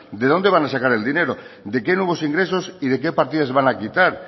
de dónde van a sacar el dinero de qué nuevos ingresos y de qué partidas van a quitar